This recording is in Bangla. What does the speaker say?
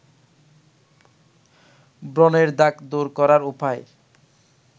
ব্রনের দাগ দূর করার উপায়